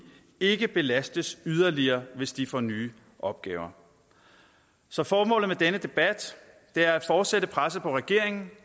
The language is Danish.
ikke belastes yderligere hvis de får nye opgaver så formålet med denne debat er at fortsætte presset på regeringen